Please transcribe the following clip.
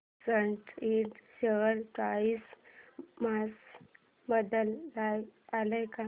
सॅट इंड share price मध्ये बदल आलाय का